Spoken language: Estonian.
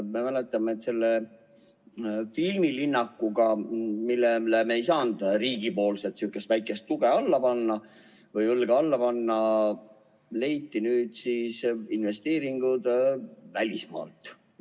Me mäletame, et sellele filmilinnakule, millele me ei saanud riigi poolt sihukest väikest tuge või õlga alla panna, leiti nüüd siis investeeringud välismaalt.